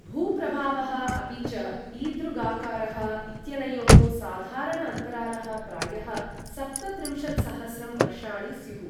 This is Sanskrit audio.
भूप्रभावः अपि च ईदृगाकारः इत्यनयोः साधारण अन्तरालः प्रायः सप्तत्रिंशत्सहस्रं वर्षाणि स्युः।